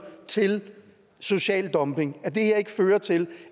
til social dumping at det her ikke fører til